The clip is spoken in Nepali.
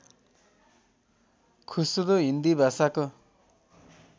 खुसरो हिन्दी भाषाको